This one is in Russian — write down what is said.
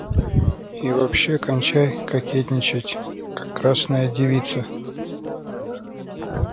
и вообще кончай кокетничать как красная девица